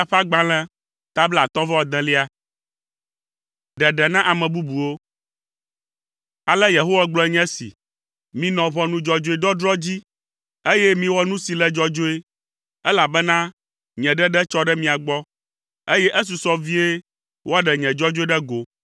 Ale Yehowa gblɔe nye esi, “Minɔ ʋɔnu dzɔdzɔe dɔdrɔ̃ dzi, eye miwɔ nu si le dzɔdzɔe, elabena nye ɖeɖe tsɔ ɖe mia gbɔ, eye esusɔ vie woaɖe nye dzɔdzɔenyenye ɖe go.